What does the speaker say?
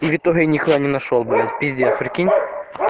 в итоге нихуя не нашёл блять пиздец прикинь